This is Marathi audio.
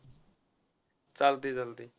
चालतय चालतय.